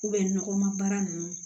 nɔgɔmara ninnu